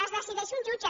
les decideix un jutge